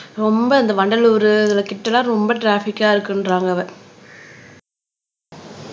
ரொம்ப இந்த வண்டலூரு இதுல கிட்ட எல்லாம் ரொம்ப ட்ராபிக்கா இருக்குன்றாங்க அத